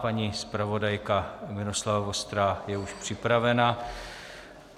Paní zpravodajka Miloslava Vostrá je už připravena.